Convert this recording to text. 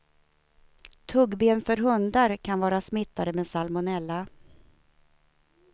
Tuggben för hundar kan vara smittade med salmonella.